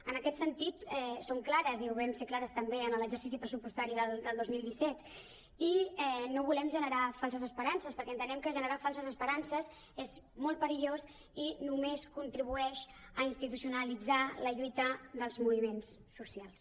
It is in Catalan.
en aquest sentit som clares i ho vam ser clares també en l’exercici pressupos·tari del dos mil disset i no volem generar falses esperances perquè entenem que generar fal·ses esperances és molt perillós i només contribueix a institucionalitzar la lluita dels moviments socials